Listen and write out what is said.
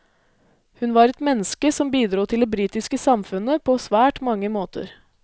Hun var et menneske som bidro til det britiske samfunnet på svært mange måter.